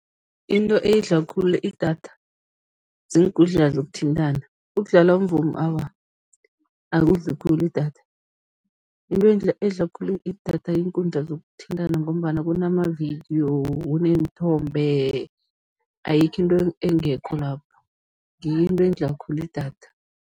Into edla khulu idatha, ziinkundla zokuthintana, ukudlala umvumo, awa, akudli khulu idatha. Into edla khulu idatha yiinkundla zokuthintana ngombana kunamavidiyo, kuneenthombe, ayikho into engekho lapho, ngiyo into edla khulu idatha.